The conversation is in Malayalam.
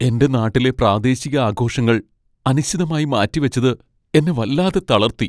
എൻ്റെ നാട്ടിലെ പ്രാദേശിക ആഘോഷങ്ങൾ അനിശ്ചിതമായി മാറ്റിവച്ചത് എന്നെ വല്ലാതെ തളർത്തി.